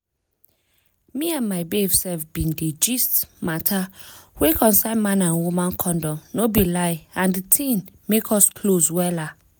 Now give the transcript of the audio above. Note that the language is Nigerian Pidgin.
make i no lie na one program for awa area make area make me sabi wetin concern[um]man and woman condom well.